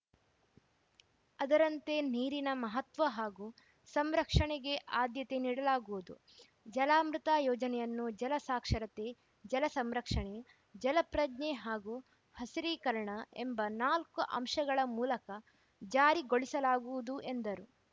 ಅದರಂತೆ ನೀರಿನ ಮಹತ್ವ ಹಾಗೂ ಸಂರಕ್ಷಣೆಗೆ ಆದ್ಯತೆ ನೀಡಲಾಗುವುದು ಜಲಾಮೃತ ಯೋಜನೆಯನ್ನು ಜಲ ಸಾಕ್ಷರತೆ ಜಲ ಸಂರಕ್ಷಣೆ ಜಲ ಪ್ರಜ್ಞೆ ಹಾಗೂ ಹಸಿರೀಕರಣ ಎಂಬ ನಾಲ್ಕು ಅಂಶಗಳ ಮೂಲಕ ಜಾರಿಗೊಳಿಸಲಾಗುವುದು ಎಂದರು